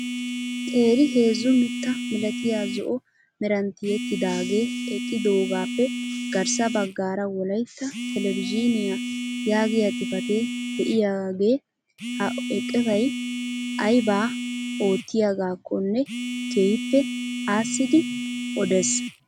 Qeeri heezzu mitta milatiyaa zo'o meran tiyettidagee eqqidogappe garssa baggaara wolaytta telebizhiniyaa yaagiyaa xifatee de'iyaagee ha eqotay aybaa oottiyaagakonne keehippe aassidi odees!